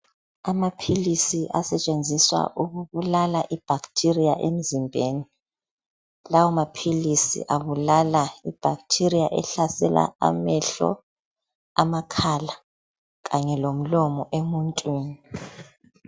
Amaphilisi asetshenziswa ukubulala ibacteria emzimbeni. Lawo maphilisi abulala ibacteria ehlasela amehlo, amakhala kanye lomlomo emuntwini.